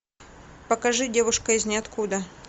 покажи девушка из ниоткуда